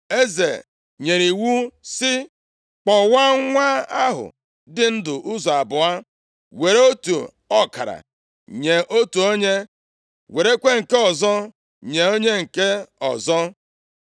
Eze nyere iwu sị, “Kpọwaa nwa ahụ dị ndụ ụzọ abụọ, were otu ọkara nye otu onye, werekwa nke ọzọ nye onye nke ọzọ.”